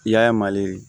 I y'a ye mali